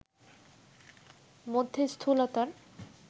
মধ্যে স্থূলতার